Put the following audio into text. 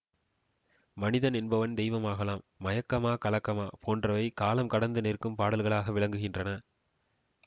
மனிதன் என்பவன் தெய்வமாகலாம் மயக்கமா கலக்கமா போன்றவை காலம் கடந்து நிற்கும் பாடல்களாக விளங்குகின்றன